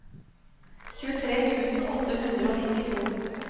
tjuetre tusen åtte hundre og nittito